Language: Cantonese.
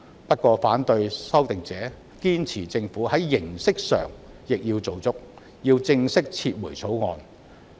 不過，反對修訂者堅持要政府在形式上亦做足，正式撤回《條例草案》。